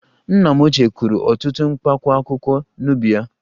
Nna m ochie kụrụ ọtụtụ Mkpaakwụkwọ n'ubi ya